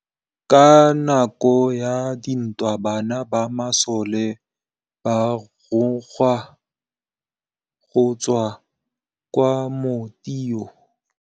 Ka nakô ya dintwa banna ba masole ba rongwa go tswa kwa mothêô.